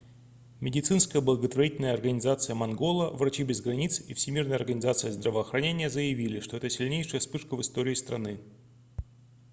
медицинская благотворительная организация мангола врачи без границ и всемирная организация здравоохранения заявили что это сильнейшая вспышка в истории страны